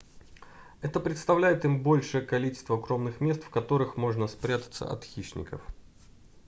это предоставляет им большее количество укромных мест в которых можно спрятаться от хищников